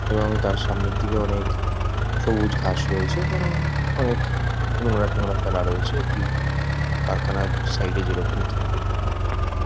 এবং তার সামনের দিকে অনেক সবুজ ঘাস রয়েছে এবং অনেক নোংরা টোঙরা ফেলা রয়েছে একটি কারখানার সাইড -এ যেরকম থাকে।